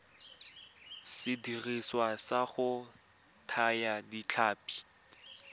sediriswa sa go thaya ditlhapi